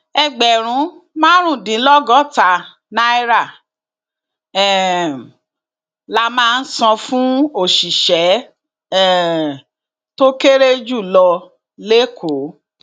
ẹgbẹrún márùndínlọgọta náírà um la máa san fún òṣìṣẹ um tó kéré jù lọ lẹkọọ